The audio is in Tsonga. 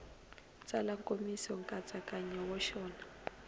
tsala nkomiso nkatsakanyo wa xona